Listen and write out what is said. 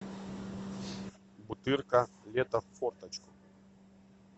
бутырка лето в форточку